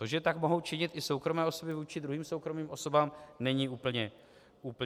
To, že tak mohou činit i soukromé osoby vůči druhým soukromým osobám, není úplně zvyklé.